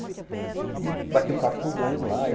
E eu bati um papo com o dono lá.